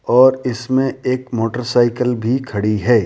और इसमें एक मोटरसाइकिल भी खड़ी है।